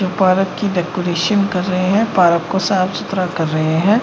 जो पार्क की डेकोरेशन कर रहे हैं। पार्क को साफ सुथरा कर रहे हैं।